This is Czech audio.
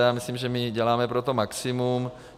A já myslím, že my děláme pro to maximum.